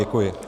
Děkuji.